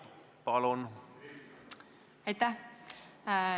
Palun!